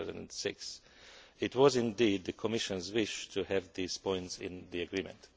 2006. It was indeed the Commission's wish to have these points in the agreement.